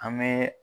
An bɛ